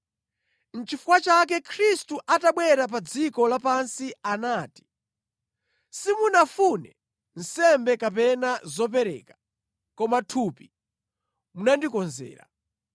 Nʼchifukwa chake Khristu atabwera pa dziko lapansi anati, “Simunafune nsembe kapena zopereka, koma thupi munandikonzera.